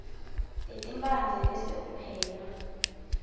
letimphandze bese upheka